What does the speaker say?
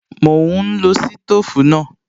Mò ún lo sítòfù náà